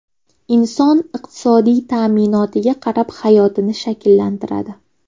Inson iqtisodiy ta’minotiga qarab hayotini shakllantiradi.